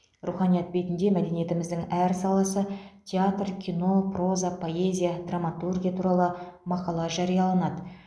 руханият бетінде мәдениетіміздің әр саласы театр кино проза поэзия драматургия туралы мақала жарияланады